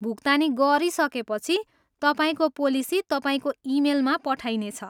भुक्तानी गरिसकेपछि, तपाईँको पोलिसी तपाईँको इमेलमा पठाइनेछ।